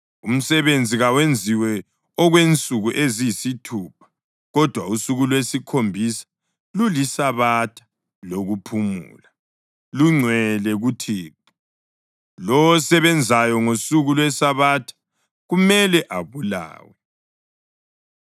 Umsebenzi kawenziwe okwensuku eziyisithupha, kodwa usuku lwesikhombisa luliSabatha lokuphumula, lungcwele kuThixo. Lowo osebenzayo ngosuku lweSabatha kumele abulawe.